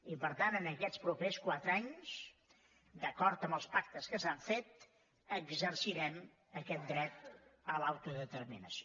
i per tant en aquests propers quatre anys d’acord amb els pactes que s’han fet exercirem aquest dret a l’autodeterminació